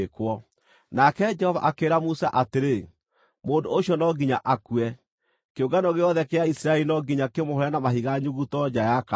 Nake Jehova akĩĩra Musa atĩrĩ, “Mũndũ ũcio no nginya akue. Kĩũngano gĩothe kĩa Isiraeli no nginya kĩmũhũũre na mahiga nyuguto nja ya kambĩ.”